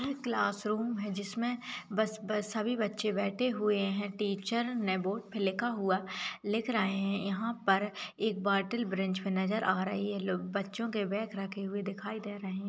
यह class room है जिसमें बस बस सभी बच्चे बैठे हुए हैं। टीचर ने बोर्ड पे लिखा हुआ लिख रहे हैं। यहाँ पर एक बॉटल ब्रेन्च पर नजर आ रही है। लोग बच्चों के बैग रखे हुए दिखाई दे रहे हैं।